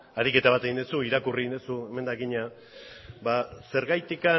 ariketa bat egin duzu irakurri egin duzu emendakina ba zergatik